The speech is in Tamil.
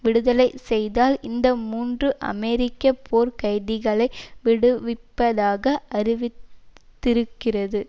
விடுதலை செய்தால் இந்த மூன்று அமெரிக்க போர் கைதிகளை விடுவிப்பதாக அறிவி திருக்கிறது